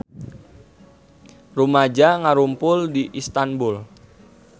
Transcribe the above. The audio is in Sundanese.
Rumaja ngarumpul di Istanbul